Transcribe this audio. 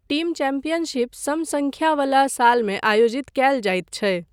Team championship सम सङ्ख्या वला सालमे आयोजित कयल जाइत छै।